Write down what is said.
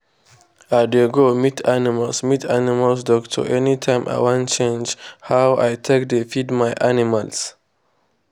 i dey go meet animal meet animal doctor anytime i wan change how i take dey feed my animals.